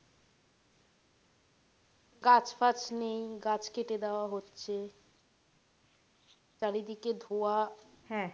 গাছ ফাছ নেই গাছ কেটে দেওয়া হচ্ছে চারিদিকে ধোঁয়া